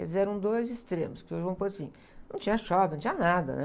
Quer dizer, eram dois extremos, que hoje vamos pôr assim, não tinha shopping, não tinha nada, né?